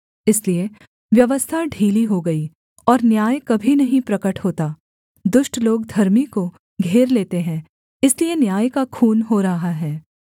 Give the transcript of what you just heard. इसलिए व्यवस्था ढीली हो गई और न्याय कभी नहीं प्रगट होता दुष्ट लोग धर्मी को घेर लेते हैं इसलिए न्याय का खून हो रहा है